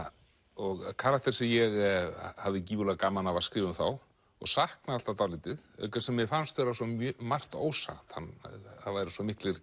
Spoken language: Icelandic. og karakter sem ég hafði gífurlega gaman af að skrifa um þá og saknaði alltaf dálítið auk þess sem mér fannst vera svo margt ósagt það væru svo miklir